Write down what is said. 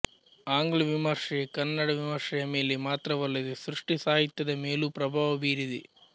ಆಂಗ್ಲ ವಿಮರ್ಶೆ ಕನ್ನಡ ವಿಮರ್ಶೆಯ ಮೇಲೆ ಮಾತ್ರವಲ್ಲದೆ ಸೃಷ್ಟಿ ಸಾಹಿತ್ಯದ ಮೇಲೂ ಪ್ರಭಾವ ಬೀರಿದೆ